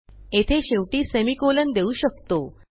येथे शेवटी सेमिकोलॉन देऊ शकतो